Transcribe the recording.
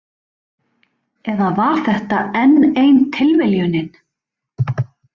Eða var þetta enn ein tilviljunin?